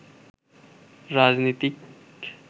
রাজনীতিক